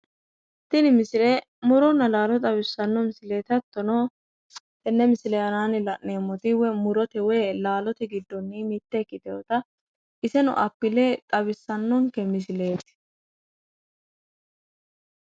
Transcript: Tini misile mo'ronna laalo xwissanno misileeti hattono tenne misile aanaanni la'neemmoti woy mo'rote woy laalote giddonni mitte ikkitinota iseno appile xawissannonke misileeti.